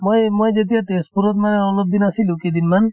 মই এই মই যেতিয়া তেজপুৰত মানে অলপ দিন আছিলো কেইদিনমান